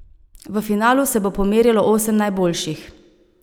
V finalu se bo pomerilo osem najboljših.